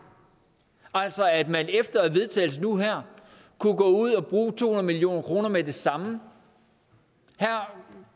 altså at man efter vedtagelsen nu her kunne gå ud og bruge to hundrede million kroner med det samme her